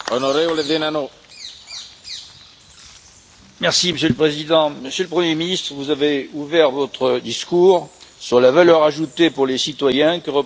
Monsieur le Président, Monsieur le Premier ministre, vous avez ouvert votre discours sur la valeur ajoutée pour les citoyens que représente pour un pays, dont le vôtre, l'adhésion à Union européenne.